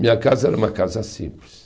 Minha casa era uma casa simples.